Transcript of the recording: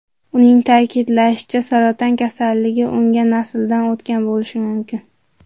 Uning ta’kidlashicha, saraton kasalligi unga nasldan o‘tgan bo‘lishi mumkin.